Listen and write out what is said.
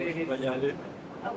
Allah sağ eləsin.